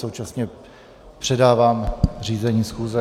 Současně předávám řízení schůze.